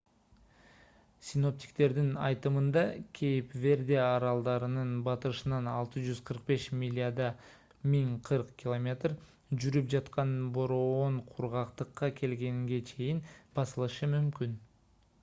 синоптиктердин айтымында кейп верде аралдарынын батышынан 645 миляда 1040 км жүрүп жаткан бороон кургактыкка келгенге чейин басылышы мүмкүн